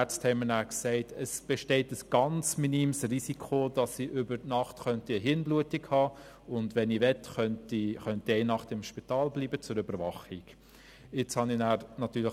Die Ärzte sagten mir dann, es bestehe ein ganz minimes Risiko, dass ich während der Nacht eine Gehirnblutung haben könnte, und wenn ich möchte, könne ich zur Überwachung eine Nacht lang im Spital bleiben.